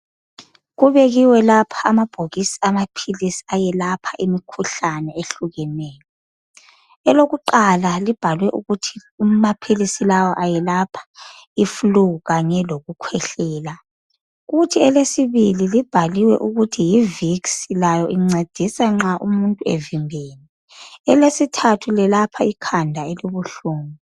Kubekiwe lapha amabhokisi amaphilisi ayelapha imikhuhlane ehlukeneyo. Elokuqala libhalwe ukuthi amaphilisi lawa ayelapha ifulu kanye lokukhwehlela Kuthi elesibili libhaliwe ukuthi yivikisi layo incedisa nxa umuntu evimbene. Elesithathu liyelapha ikhanda elibuhlungu.